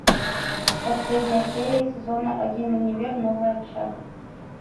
последняя серия сезона один универ новая общага